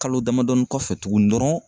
Kalo damadɔni kɔfɛ tuguni dɔrɔn